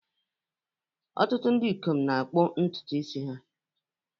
Ọtụtụ ndị ikom na-akpụ ntutu isi ha